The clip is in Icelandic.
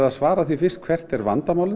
að svara því fyrst hvert er vandamálið